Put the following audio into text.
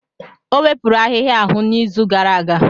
O wepụrụ ahihia ahụ n'izu gara aga.